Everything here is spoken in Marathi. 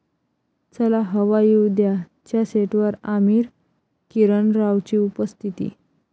चला हवा येऊ द्या'च्या सेटवर आमिर, किरण रावची उपस्थिती